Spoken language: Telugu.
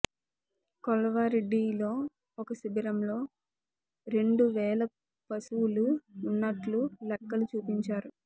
కొలార్వాడీలో ఒక శిబిరంలో రెండు వేల పశువులు ఉన్నట్లు లెక్కలు చూపించారు